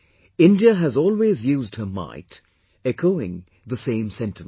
India has always used her might, echoing the same sentiment